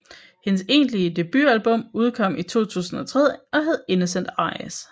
Hendes egentlige debutalbum kom i 2003 og hed Innocent Eyes